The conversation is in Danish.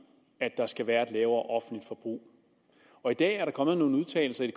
der skal være et lavere offentligt forbrug og i dag er der kommet nogle udtalelser i